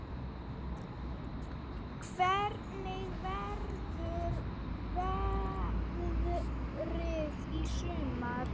Hvernig verður veðrið í sumar?